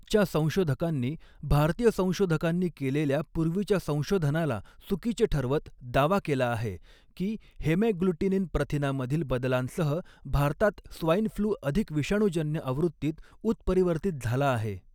च्या संशोधकांनी, भारतीय संशोधकांनी केलेल्या पूर्वीच्या संशोधनाला चुकीचे ठरवत दावा केला आहे, की हेमॅग्ग्लुटिनिन प्रथिनामधील बदलांसह भारतात स्वाइन फ्लू अधिक विषाणूजन्य आवृत्तीत उत्परिवर्तित झाला आहे.